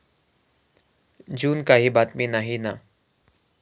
जून काही बातमी नाही ना.